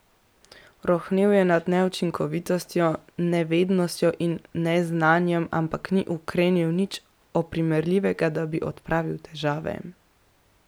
Rohnel je nad neučinkovitostjo, nevednostjo in neznanjem, ampak ni ukrenil nič oprijemljivega, da bi odpravil težave.